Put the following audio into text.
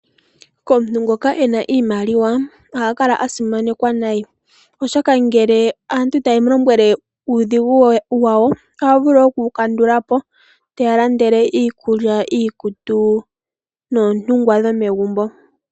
Komuntu ngoka ena iimaliwa, oha kala asimanekwa nayi. Oshoka ngele aantu ta ye mu lombwele uudhigu wawo, oha vulu oku wu kandulapo, te ya landele iikulya, iikutu, noontungwa dhomegumbo.